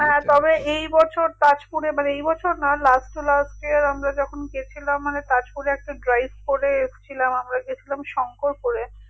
তবে এই বছর তাজপুরে মানে এইবছর না last to last year আমরা যখন গেছিলাম মানে তাজপুরে একটা drives আমরা গেছিলাম শংকরপুরে